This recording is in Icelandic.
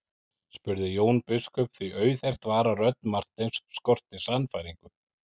spurði Jón biskup því auðheyrt var að rödd Marteins skorti sannfæringu.